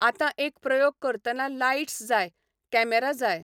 आतां एक प्रयोग करतना लायटस् जाय, कॅमेरा जाय.